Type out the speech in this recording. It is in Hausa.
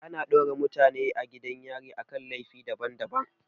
Ana daure mutane a gidan yari akan laifi daban daban